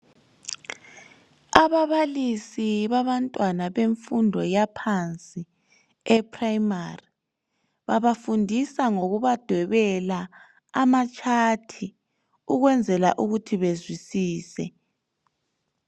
Ababalisi bantwana bemfundo yaphansi ePrimary babafundisa ngokubadwebela amachat ukwenzela ukuthi bezwisise.